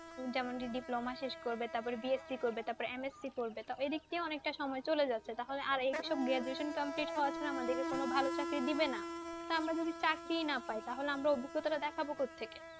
যেমন কি diploma শেষ করবে তারপএ BSC করবে, তারপরে MSC করবে তারপরে এদিক দিয়েও অনেক টা সময় চলে যাচ্ছে। তাহলে আর এই বিষয়ে graduation complete হওয়ার পরে আমাদের কে কোনও ভালো চাকরি দিবেনা। টা আমরা যদি চাকরি না পাই তাহলে আমরা অভিজ্ঞতা টা দেখাবো কোত্থেকে।